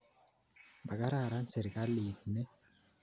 Makararan sirikalit ni